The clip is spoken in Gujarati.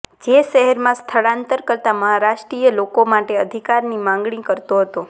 જે શહેરમાં સ્થળાંતર કરતા મહારાષ્ટ્રીય લોકો માટે અધિકારની માંગણી કરતો હતો